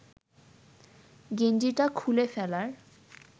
গেঞ্জিটা খুলে ফেলার